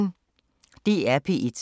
DR P1